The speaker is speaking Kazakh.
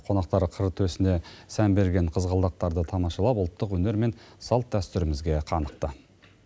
қонақтар қыр төсіне сән берген қызғалдақтарды тамашалап ұлттық өнер мен салт дәстүрімізге қанықты